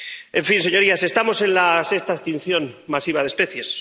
En fin, señorías, estamos en la sexta extinción masiva de especies.